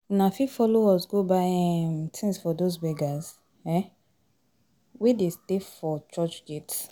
Una fit follow us go buy um tins for dose beggers um wey de stay for church gate